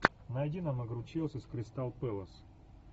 найди нам игру челси с кристал пэлас